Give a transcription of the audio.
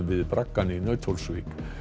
við braggann í Nauthólsvík